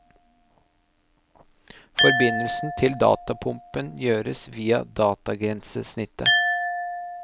Forbindelsen til datapumpen gjøres via datagrensesnittet.